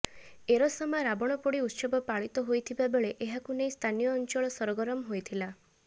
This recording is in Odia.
ଏରସମା ରାବଣପୋଡି ଉତ୍ସବ ପାଳିତ ହୋଇଥିବା ବେଳେ ଏହାକୁ ନେଇ ସ୍ଥାନୀୟ ଅଞ୍ଚଳ ସରଗରମ ହୋଇଥିଲା